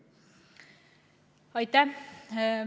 Aitäh!